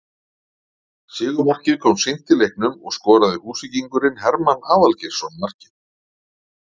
Sigurmarkið kom seint í leiknum og skoraði Húsvíkingurinn Hermann Aðalgeirsson markið